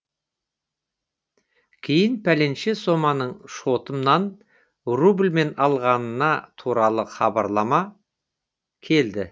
кейін пәленше соманың шотымнан рубльмен алынғаны туралы хабарлама келді